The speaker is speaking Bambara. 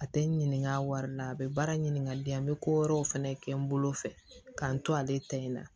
A tɛ n ɲininka a wari la a bɛ baara ɲininka n bɛ ko wɛrɛw fɛnɛ kɛ n bolo fɛ k'an to ale ta in na